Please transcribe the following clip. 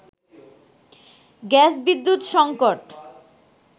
গ্যাস-বিদ্যুৎ সঙ্কট